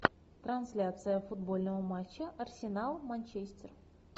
трансляция футбольного матча арсенал манчестер